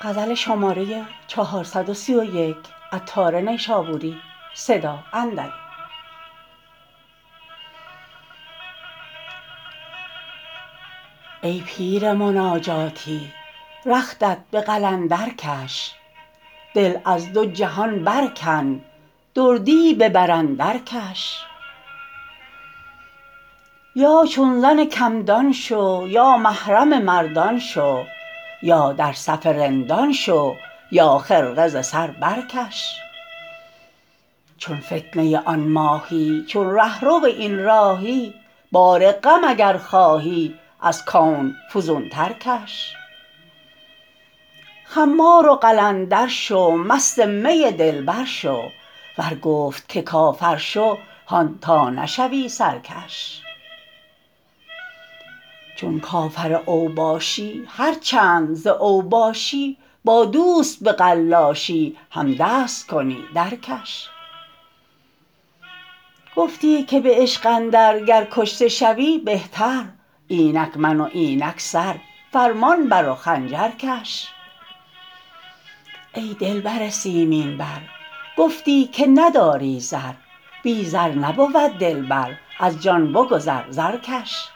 ای پیر مناجاتی رختت به قلندر کش دل از دو جهان برکن دردی ببر اندر کش یا چون زن کم دان شو یا محرم مردان شو یا در صف رندان شو یا خرقه ز سر برکش چون فتنه آن ماهی چون رهرو این راهی بار غم اگر خواهی از کون فزون تر کش خمار و قلندر شو مست می دلبر شو ور گفت که کافر شو هان تا نشوی سرکش چون کافر اوباشی هرچند ز اوباشی با دوست به قلاشی هم دست کنی درکش گفتی که به عشق اندر گر کشته شوی بهتر اینک من و اینک سر فرمان بر و خنجر کش ای دلبر سیمین بر گفتی که نداری زر بی زر نبود دلبر از جان بگذر زر کش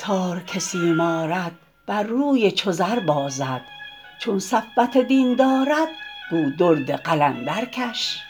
عطار که سیم آرد بر روی چو زر بازد چون صفوت دین دارد گو درد قلندر کش